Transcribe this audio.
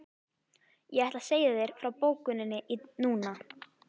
Ég ætla að segja þér frá bókinni núna.